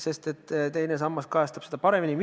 Teine sammas kajastab seda paremini.